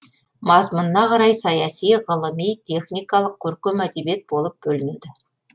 мазмұнына қарай саяси ғылыми техникалық көркем әдебиет болып бөлінеді